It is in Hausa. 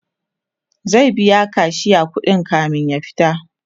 zai biya kashiya kuɗi kamin ya fita